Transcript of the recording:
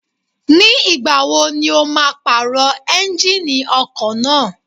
Ní ìgbà wo ni o máa pàrọ̀ Ẹ́njíníì ọkọ̀ náà?